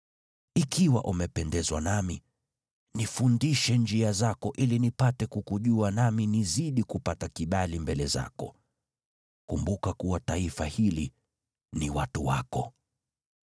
Ikiwa umependezwa nami, nifundishe njia zako ili nipate kukujua, nami nizidi kupata kibali mbele zako. Kumbuka kuwa taifa hili ni watu wako.”